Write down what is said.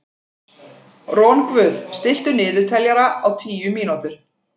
Rongvuð, stilltu niðurteljara á tíu mínútur.